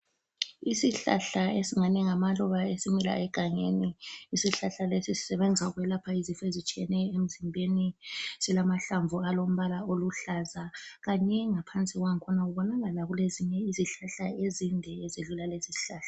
Isihlahla esingani ngamaluba esimila egangeni, isihlahla lesi sisebenza ukwelapha izifo ezitshiyeneyo emzimbeni. Silamahlamvu alombala oluhlaza kanye ngaphansi kwangikhona kubonakala kulezinye izihlahla ezinde ezidlula lesi isihlahla.